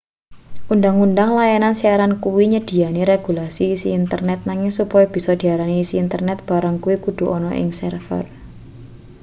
undhang-undhang layanan siaran kuwi nyedhiyani regulasi isi internet nanging supaya bisa diarani isi internet barang kuwi kudu ana ing server